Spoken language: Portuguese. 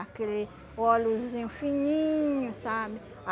aquele oleozinho fininho, sabe?